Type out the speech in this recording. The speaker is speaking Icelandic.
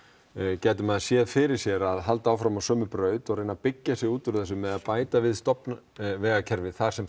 gæti maður séð fyrir sér að halda áfram á sömu braut og reyna að byggja sig út úr þessu með að bæta við stofnvegakerfi þar sem